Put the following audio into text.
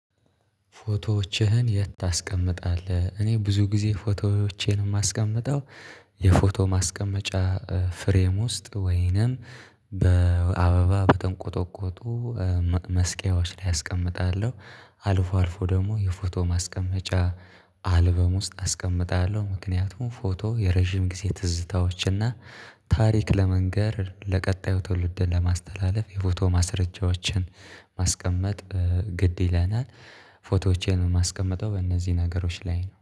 ፎቶዎችህን የት ታስቀምጣለህ? እኔ ብዙ ጊዜ ፎቶዎቼን የማስቀምጠው የፎቶ ማስቀመጫ ፍሬም ውስጥ ወይንም በአበባ በተንቆጠቆጡ መስቀያዎች ላይ አስቀምጣለሁ። አልፎ አልፎ ደግሞ የፎቶ ማስቀመጫ አልበም ውስጥ አስቀምጣለሁ። ምክንያቱም ፎቶ የረጅም ጊዜ ትዝታዎችና ታሪክ ለመንገር ለቀጣዩ ትውልድ ለማስተላለፍ የፎቶ ማስረጃዎችን ማስቀመጥ ግድ ይለናል። ፎቶዎችን ማስቀመጠው በእነዚህ ነገሮች ላይ ነው